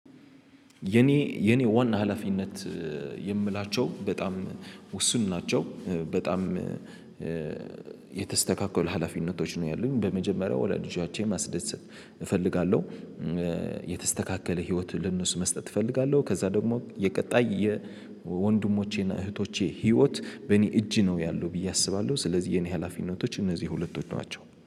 የኔ የኔ ዋና ሀላፊነት የምላቸው በጣም ውስን ናቸው በጣም የተስተካክሉ ሀላፊነቶች ነው ያሉኝ በመጀመሪያ ወሃ ልጆቼን ማስደሰት እፈልጋለሁ። የተስተካከለ ህይወት ልንሱ መስጠት እፈልጋለሁ ከዛ ደግሞ የቀጣይ የወንድሞቼና እህቶቼ ህይወት በእኔ እጅ ነው ያለው ብዬ አስባለሁ ስለዚህ የኔ ሀላፊነቶች እነዚህ ሁለቶች ናቸው